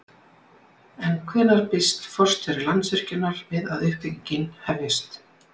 En hvenær býst forstjóri Landsvirkjunar við að uppbyggingin hefjist?